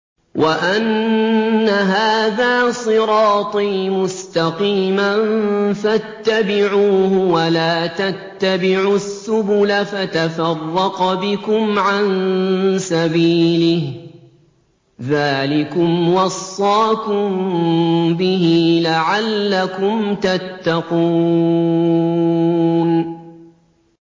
وَأَنَّ هَٰذَا صِرَاطِي مُسْتَقِيمًا فَاتَّبِعُوهُ ۖ وَلَا تَتَّبِعُوا السُّبُلَ فَتَفَرَّقَ بِكُمْ عَن سَبِيلِهِ ۚ ذَٰلِكُمْ وَصَّاكُم بِهِ لَعَلَّكُمْ تَتَّقُونَ